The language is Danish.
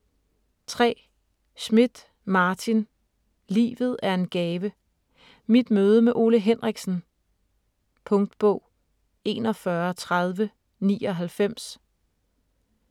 3. Schmidt, Martin: Livet er en gave: mit møde med Ole Henriksen Punktbog 413099